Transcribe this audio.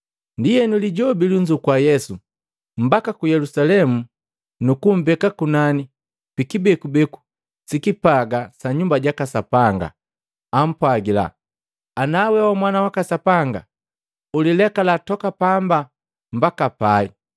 Ndienu Lijobi lunzukua Yesu mbaka ku Yelusalemu nukumbeka kunani pikibekubeku sikipaga sa Nyumba jaka Sapanga. Ampwagila, “Ana we wa Mwana waka Sapanga, ulilekala toka pamba mbaka pai.